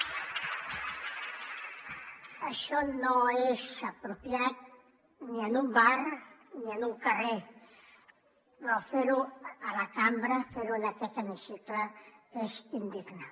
això no és apropiat ni en un bar ni en un carrer però fer ho a la cambra fer ho en aquest hemicicle és indignant